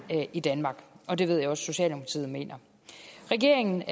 i danmark og det ved jeg også at socialdemokratiet mener regeringen